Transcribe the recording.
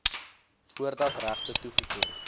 voordat regte toegeken